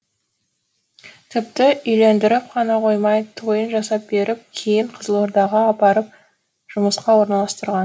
тіпті үйлендіріп қана қоймай тойын жасап беріп кейін қызылордаға апарып жұмысқа орналастырған